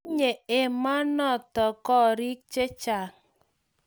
Tinyei emonoto gorik chechang